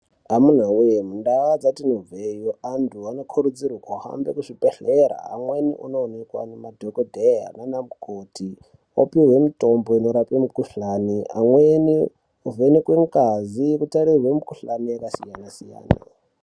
Amunawe mundaa dzatinobveyo antu anokurudzirwe kuhambe kuzvibhedhlera amweni onoonekwa nemadhokodheya nana mukoti opihwe mitombo inorape mikhuhlani , amweni ovhenekwe ngazi otarirwe mikhuhlani yakasiyana siyana.